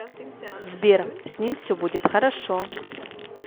сбер с ним все будет хорошо